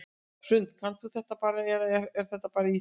Hrund: Kannt þú þetta bara eða er þetta bara í þér?